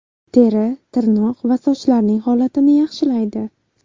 Teri, tirnoq va sochlarning holatini yaxshilaydi.